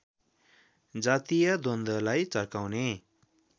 जातीय द्वन्द्वलाई चर्काउने